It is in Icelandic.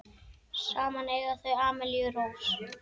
Saman eiga þau Amelíu Rós.